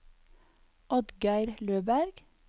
Oddgeir Løberg